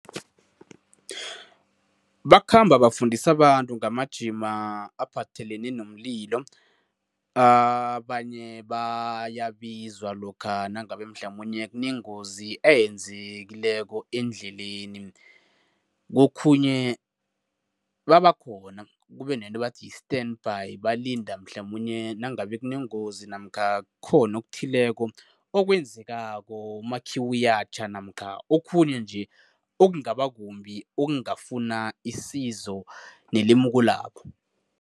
Bakhamba bafundisa abantu ngamajima aphathelene nomlilo. Abanye bayibizwa lokha nangabe mhlamunye kunengozi eyenzekileko endleleni. Kokhunye babakhona, kube nento ebathi yi-standby, balinda mhlamunye nangabe kunengozi namkha kukhona okuthileko okwenzekako, umakhiwo uyatjha namkha okhunye nje okungaba kumbi, okungafuna isizo nelemuko labo.